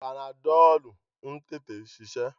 Panadọ́lú ń tètè ṣiṣẹ́.